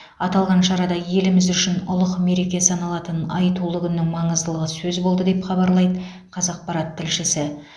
аталған шарада еліміз үшін ұлық мереке саналатын айтулы күннің маңыздылығы сөз болды деп хабарлайды қазақпарат тілшісі